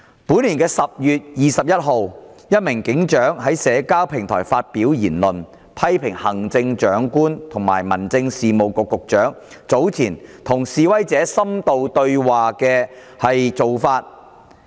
本年10月21日，一名警長在社交平台發表言論，批評行政長官和民政事務局局長早前與示威者深度對話的做法。